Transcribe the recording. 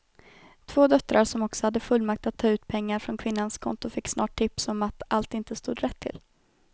Två döttrar som också hade fullmakt att ta ut pengar från kvinnans konton fick snart tips om att allt inte stod rätt till.